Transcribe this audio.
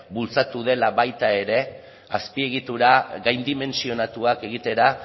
bultzatu dela baita ere azpiegitura gaindimentsionatuak egitera